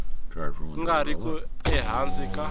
nga ri ku ehansi ka